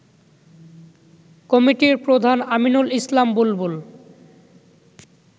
কমিটির প্রধান আমিনুল ইসলাম বুলবুল